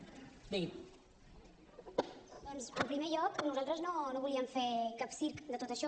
doncs en primer lloc nosaltres no volíem fer cap circ de tot això